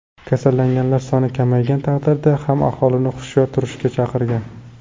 Kasallanganlar soni kamaygan taqdirda ham aholini hushyor turishga chaqirgan.